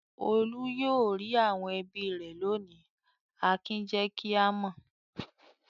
"Olú yóò rí àwọn ẹbí rẹ̀ lónìí!" Akin jẹ́ kí a mọ̀.